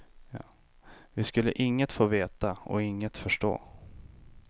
Vi skulle inget få veta och inget förstå.